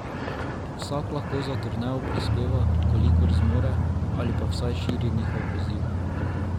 Vsak lahko za turnejo prispeva, kolikor zmore, ali pa vsaj širi njihov poziv.